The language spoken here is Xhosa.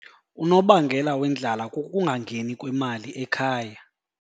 Unobangela wendlala kukungangeni kwemali ekhaya.